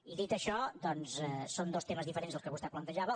i dit això doncs són dos temes diferents els que vostè plantejava